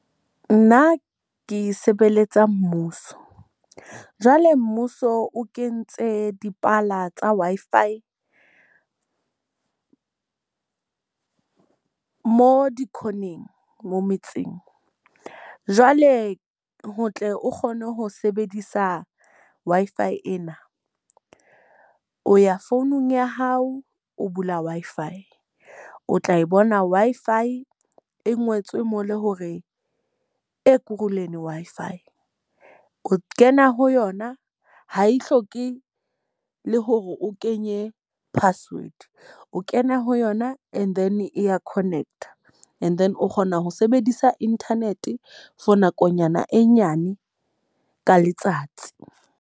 Nna ke sebeletsa mmuso. Jwale mmuso o kentse dipala tsa Wi-Fi mo di-corner-ng mo metseng. Jwale ho tle o kgone ho sebedisa Wi-Fi ena. O ya founung ya hao, o bula Wi-Fi. O tla e bona Wi-Fi e ngotswe mo le hore Wi-Fi. O kena ho yona ha e hloke le hore o kenye password, o kena ho yona and then E ya connect-a. And then o kgona ho sebedisa internet for nakonyana e nyane ka letsatsi.